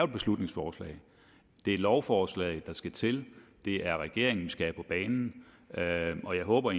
beslutningsforslag det er et lovforslag der skal til det er regeringen vi skal have på banen og jeg håber